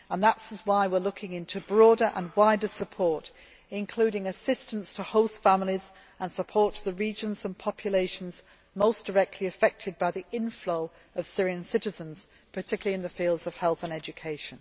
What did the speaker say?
That is why we are looking into broader and wider support, including assistance to host families and support to the regions and populations most directly affected by the inflow of Syrian citizens, particularly in the fields of health and education.